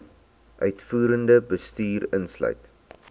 uitvoerende bestuur insluit